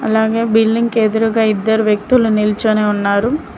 అలాగే బిల్లింగ్ కి ఎదురుగా ఇద్దరు వ్యక్తులు నిల్చోని ఉన్నారు.